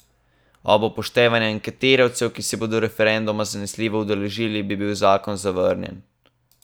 Ob upoštevanju anketirancev, ki se bodo referenduma zanesljivo udeležili, bi bil zakon zavrnjen.